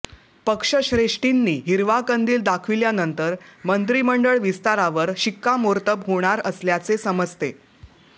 पक्षश्रेष्ठींनी हिरवा कंदिल दाखविल्यानंतर मंत्रिमंडळ विस्तारावर शिक्कामोर्तब होणार असल्याचे समजते